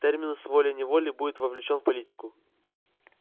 терминус волей-неволей будет вовлечён в политику